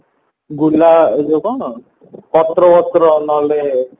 ଗୁଲା ଯୋଉ କଣ ପତ୍ର ଫତ୍ର ନହେଲେ